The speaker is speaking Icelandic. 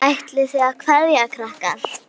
Ætlið þið að kveðja krakkar?